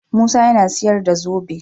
Musa yAna siyar da zobe